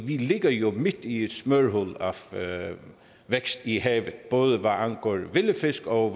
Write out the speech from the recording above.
vi ligger jo midt i et smørhul af vækst i havet både hvad angår vilde fisk og